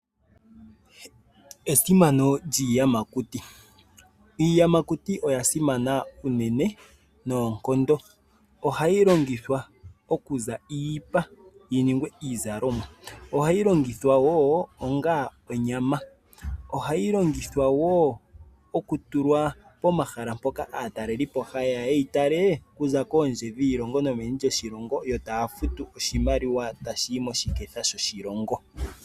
Esimano lyiiyamakuti, iiyamakuti oya simana uunene noonkondo. Oha yi longithwa oku za iipa yi ningwe iizalomwa, oha yi longithwa woo onga onyama, oha yi longithwa woo oku tulwa pomahala mpoka aatalelipo, hayeya ye yi tale okuza kondje yiilongo nomeni lyoshilongo yo taya futu oshimalwa tashi yi moshiketha shoshilongo.